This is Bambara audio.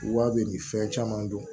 Wa bɛ nin fɛn caman dɔn